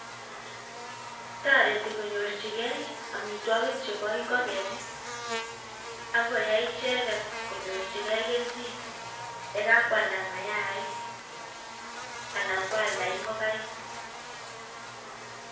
Toreti konyorchigei amitwogik chebo ing'ogenik, akoyai icheket konyorchikei kelchin. Ye kakwalda mayaik, anan kwalda ing'ogaik